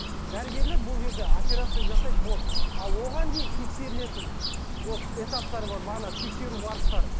дәрігерлер бұл жерде операция жасайды болды а оған дейін тексерілетін вот этаптары бар бағана тексеру барыстары